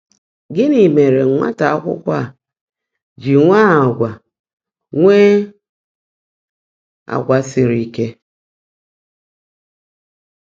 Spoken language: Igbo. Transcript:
Gị́ní mèèré nwátá ákwụ́kwọ́ á jị́ nwèé àgwà nwèé àgwà sírí íke?